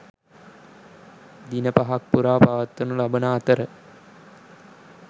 දින පහක් පුරා පවත්වනු ලබන අතර